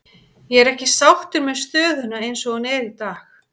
Ég er ekki sáttur með stöðuna eins og hún er í dag.